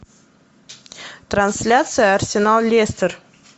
трансляция арсенал лестер